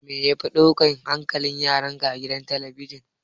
Me yafi ɗaukan hankalin yaranka a gidan talabijin?